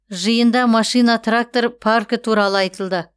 жиында машина трактор паркі туралы айтылды